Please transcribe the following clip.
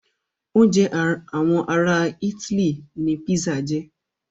Oúnjẹ àwọn ará itály ní pizza jẹ́.